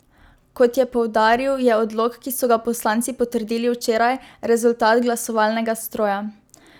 Kot je poudaril, je odlok, ki so ga poslanci potrdili včeraj, rezultat glasovalnega stroja.